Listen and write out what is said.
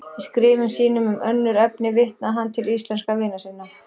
Í skrifum sínum um önnur efni vitnaði hann til íslenskra vina sinna.